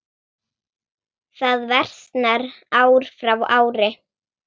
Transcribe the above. Það versnar ár frá ári.